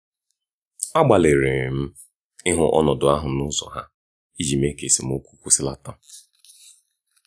agbalịrị m ịhụ ọnọdụ ahụ n'ụzọ ha iji mee ka esemokwu kwụsịlata.